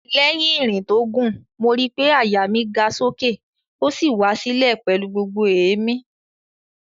Lẹ́yìn ìrìn tó gùn, mo ri pé àyà mi ga sókè ó sì wá sílẹ̀ pẹ̀lú gbogbo èémí